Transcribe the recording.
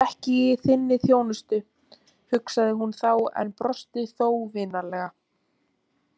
Ég er ekki í þinni þjónustu, hugsaði hún þá en brosti þó vinalega.